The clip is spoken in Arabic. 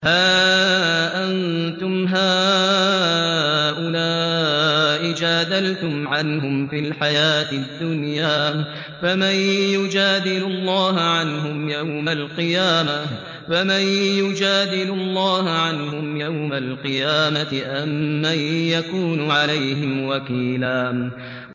هَا أَنتُمْ هَٰؤُلَاءِ جَادَلْتُمْ عَنْهُمْ فِي الْحَيَاةِ الدُّنْيَا فَمَن يُجَادِلُ اللَّهَ عَنْهُمْ يَوْمَ الْقِيَامَةِ أَم مَّن يَكُونُ عَلَيْهِمْ وَكِيلًا